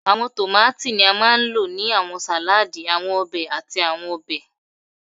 Awọn tomati ni a maa n lo ni awọn saladi, awọn obe, ati awọn ọbẹ